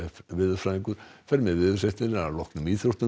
veðurfræðingur fer með veðurfregnir að loknum íþróttum